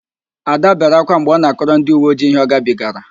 Ạda bere ákwá mgbe ọ na-akọrọ ndịuweojii ihe ọgabigara